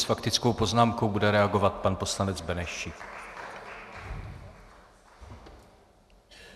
S faktickou poznámkou bude reagovat pan poslanec Benešík.